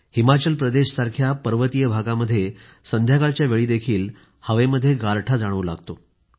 हिमाचल प्रदेशसारख्या पर्वतीय भागामध्ये संध्याकाळच्या वेळीही हवेमध्ये गारठा जाणवू लागतो